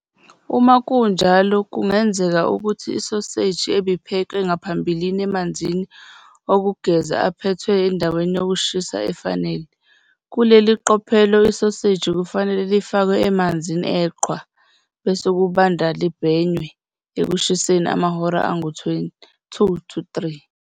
Uma kunjalo, kungenzeka ukuthi isoseji ibiphekwe ngaphambilini emanzini okugeza aphethwe endaweni yokushisa efanele. Kuleli qophelo isoseji kufanele lifakwe emanzini eqhwa, bese kubanda libhenywe ekushiseni amahora angu-2-3.